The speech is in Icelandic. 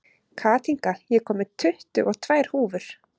Kathinka, ég kom með tuttugu og tvær húfur!